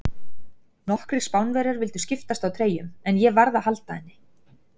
Nokkrir Spánverjar vildu skiptast á treyjum, en ég varð að halda henni.